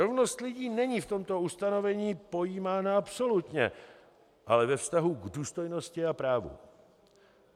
Rovnost lidí není v tomto ustanovení pojímána absolutně, ale ve vztahu k důstojnosti a právům.